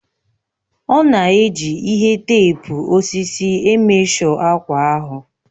Ọ na-eji ihe teepu osisi emeshọ akwa ahụ